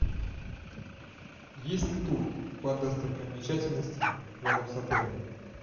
есть ли тур по достопримечательностям рядом с отелем